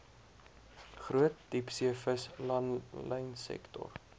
groot diepseevis langlynsektor